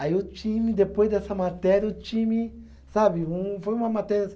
Aí o time, depois dessa matéria, o time, sabe, um foi uma matéria assim.